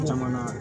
Jamana